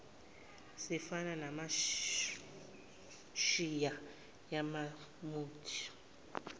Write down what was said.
zifana namashiya yamuthi